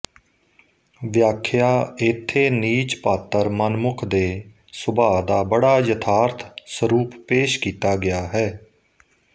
ਵਿਆਖਿਆਇਥੇ ਨੀਚ ਪਾਤਰ ਮਨਮੁਖ ਦੇ ਸੁਭਾ ਦਾ ਬੜਾ ਯਥਾਰਥ ਸਰੂਪ ਪੇਸ ਕੀਤਾ ਗਿਆ ਹੈ